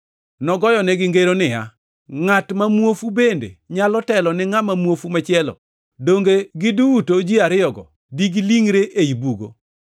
Nogoyonegi ngeroni niya, “Ngʼat ma muofu bende nyalo telo ni ngʼama muofu machielo? Donge giduto ji ariyogo di gilingʼre ei bugo?